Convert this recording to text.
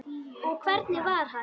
Og hvernig var hann?